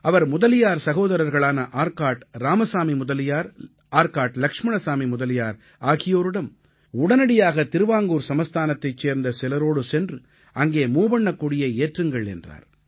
அவர் முதலியார் சகோதரர்களான ஆர்காட் இராமசாமி முதலியார் ஆர்காட் லக்ஷ்மணசாமி முதலியார் ஆகியோரிடம் உடனடியாக திருவாங்கூர் சமஸ்தானத்தைச் சேர்ந்த சிலரோடு சென்று அங்கே மூவண்ணக் கொடியை ஏற்றுங்கள் என்றார்